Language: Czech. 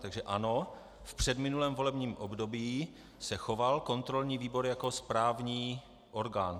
Takže ano, v předminulém volebním období se choval kontrolní výbor jako správní orgán.